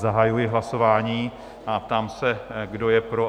Zahajuji hlasování a ptám se, kdo je pro?